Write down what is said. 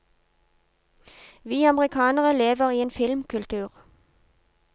Vi amerikanere lever i en filmkultur.